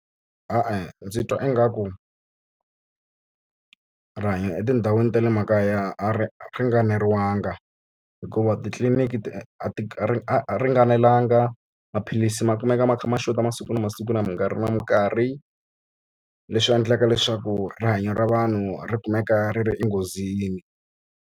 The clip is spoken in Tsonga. E-e ndzi twa ingaku rihanyo etindhawini ta le makaya a ringanelanga hikuva titliliniki ti ti ringanelanga, maphilisi ma kumeka ma kha ma xota masiku na masiku na mikarhi na mikarhi. Leswi endlaka leswaku rihanyo ra vanhu ri kumeka ri ri enghozini.